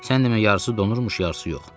Sən demə yarısı donurmuş, yarısı yox.